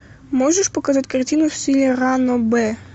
можешь показать картину в стиле ранобэ